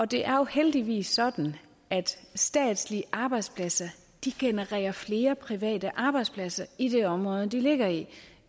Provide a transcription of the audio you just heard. det er jo heldigvis sådan at statslige arbejdspladser genererer flere private arbejdspladser i det område de ligger i